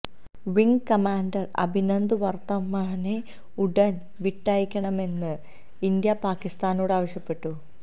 wing commander Abhinandan വര്ത്തമനെ ഉടന് വിട്ടയക്കണമെന്ന് ഇന്ത്യ പാകിസ്താനോട് ആവശ്യപ്പെട്ടു